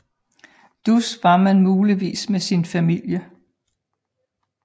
Dus var man muligvis med sin familie